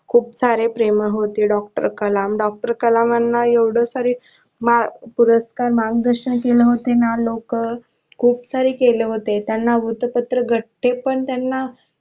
खूप सारे प्रेमळ होते Doctor कलाम Doctor कलामाना एवढ सर पुरस्कार मार्गदर्शन केले होते ना लोक खूप काही केलं होते वृत्तपत्रे घट्टे पण त्यांना